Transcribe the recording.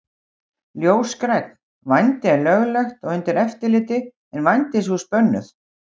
Ljósgrænn: Vændi er löglegt og undir eftirliti en vændishús bönnuð.